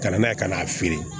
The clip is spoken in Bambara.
Ka na n'a ye ka n'a feere